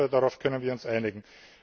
Ich hoffe, darauf können wir uns einigen.